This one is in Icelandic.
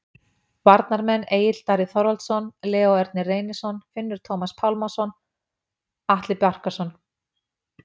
Varnarmenn: Egill Darri Þorvaldsson, Leó Ernir Reynisson, Finnur Tómas Pálmason, Atli Barkarson